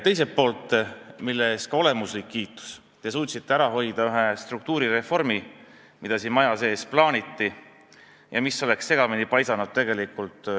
Teiseks ka olemuslik kiitus – te suutsite ära hoida ühe struktuurireformi, mida siin maja sees plaaniti ja mis oleks palju segamini paisanud.